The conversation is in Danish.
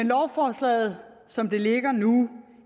lovforslaget som det ligger nu